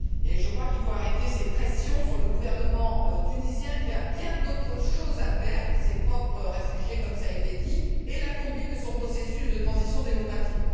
Je crois qu'il faut arrêter ces pressions sur le gouvernement tunisien, qui a bien d'autres sujets à traiter ses propres réfugiés comme cela a été dit et la conduite de son processus de transition démocratique.